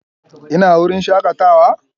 Ina wurin shakatawa?